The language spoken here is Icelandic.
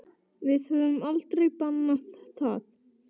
Við höfum aldrei bannað það.